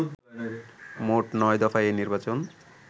মোট নয় দফায় এই নির্বাচন